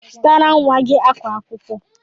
Zụtara nwa gị akwa akwụkwọ!